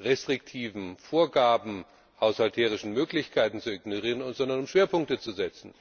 restriktiven Vorgaben haushalterischer Möglichkeiten zu ignorieren, sondern um Schwerpunkte zu setzen.